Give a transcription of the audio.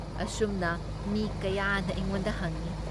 ꯑꯁꯨꯝꯅ ꯃꯤ ꯀꯌꯥꯅ ꯑꯩꯉꯣꯟꯗ ꯍꯪꯏ ꯫